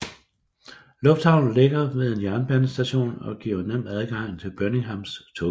Lufthavnen ligger ved en jernbanestation og giver nem adgang til Birminghams togsystem